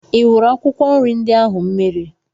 I wụrụ akwụkwọ nri ndị ahụ mmiri?